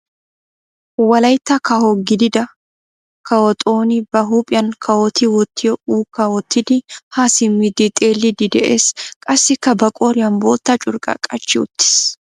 Wolayitta kawo gidida kawo xooni ba huuphiyan kawoti wottiyo ukkaa wottidi haa simmidi xeelliiddi de'ees. Qassikka ba qooriyan bootta curqqaa qachchi uttis.